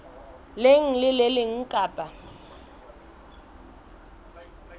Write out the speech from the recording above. leng le le leng kapa